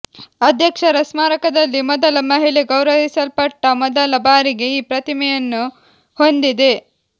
ಅಧ್ಯಕ್ಷರ ಸ್ಮಾರಕದಲ್ಲಿ ಮೊದಲ ಮಹಿಳೆ ಗೌರವಿಸಲ್ಪಟ್ಟ ಮೊದಲ ಬಾರಿಗೆ ಈ ಪ್ರತಿಮೆಯನ್ನು ಹೊಂದಿದೆ